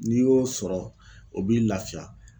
N'i y'o sɔrɔ o b'i laafiya.